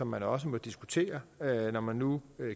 man også må diskutere når man nu